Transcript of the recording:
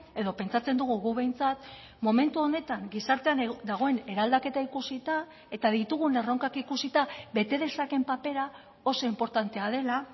edo pentsatzen dugu guk behintzat momentu honetan gizartean dagoen eraldaketa ikusita eta ditugun erronkak ikusita bete dezakeen papera oso inportantea dela